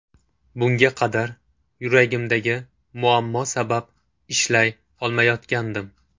Bunga qadar yuragimdagi muammo sabab ishlay olmayotgandim.